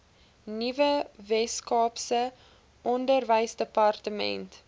nuwe weskaapse onderwysdepartement